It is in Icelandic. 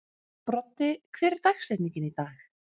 Broddi, hver er dagsetningin í dag?